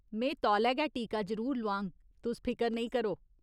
में तौले गै टीका जरूर लोआङ, तुस फिकर नेईं करो।